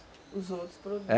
Os outros produtos.